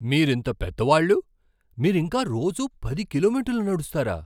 మీరింత పెద్దవాళ్ళు, మీరింకా రోజూ పది కిలోమీటర్లు నడుస్తారా?